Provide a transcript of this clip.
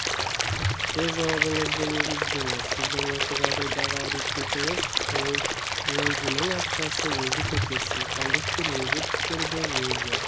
өз жауабыңызды негіздеңіз сіздің осы жағдайдағы әрекеңіз ол өзінің ақшасы өзі көтерсін кондуктор өзі түсірді өзі